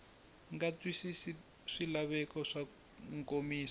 nga twisisi swilaveko swa nkomiso